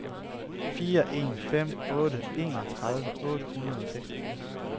fire en fem otte enogtredive otte hundrede og seksogfirs